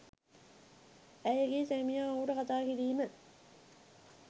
ඇයගේ සැමියා ඔහුට කතා කිරීම